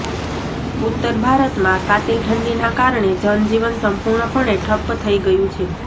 ઉત્તર ભારતમાં કાતિલ ઠંડીના કારણે જનજીવન સંપૂર્ણપણે ઠપ્પ થઇ ગયુ છે